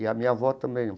E a minha avó também.